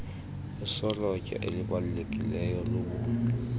isolotya elibalulekileyo lobu